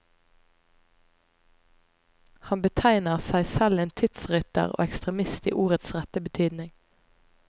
Han betegner seg selv en tidsrytter og ekstremist i ordets rette betydning.